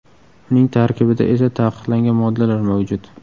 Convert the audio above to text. Uning tarkibida esa taqiqlangan moddalar mavjud.